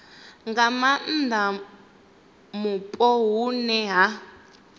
nga maanda mupo hune ha